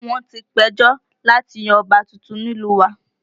Wọ́n ti ń péjọ láti yan ọba tuntun nílùú wa